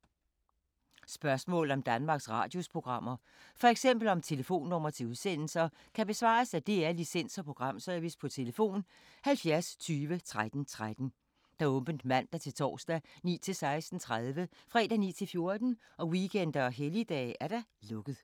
Spørgsmål om Danmarks Radios programmer, f.eks. om telefonnumre til udsendelser, kan besvares af DR Licens- og Programservice: tlf. 70 20 13 13, åbent mandag-torsdag 9.00-16.30, fredag 9.00-14.00, weekender og helligdage: lukket.